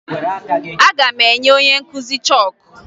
Aga m enye onye nkụzi chọọkụ